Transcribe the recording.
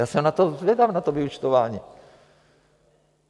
Já jsem na to zvědav, na to vyúčtování.